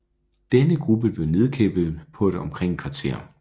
Denne gruppe blev nedkæmpet på omkring et kvarter